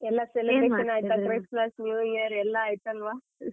ಎಲ್ಲ celebration ಆಯ್ತಾ Christmas, New Year ಎಲ್ಲಾ ಆಯಿತಲ್ವಾ.